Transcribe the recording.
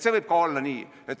See võib olla ka nii.